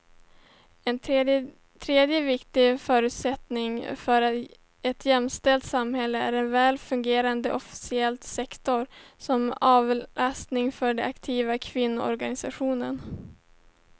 En tredje viktig förutsättning för ett jämställt samhälle är en väl fungerande offentlig sektor som avlastning för den aktiva kvinnogenerationen.